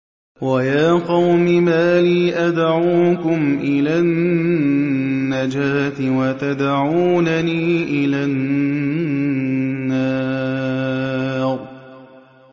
۞ وَيَا قَوْمِ مَا لِي أَدْعُوكُمْ إِلَى النَّجَاةِ وَتَدْعُونَنِي إِلَى النَّارِ